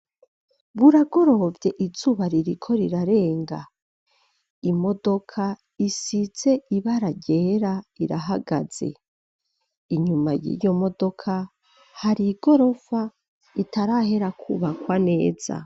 Buragorovye, izuba ririko rirarenga; imodoka, isize ibara ryera irahagaze; inyuma y'iyo modoka, hari igorofa itarahera kwubakwa neza.